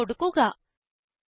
enter കൊടുക്കുക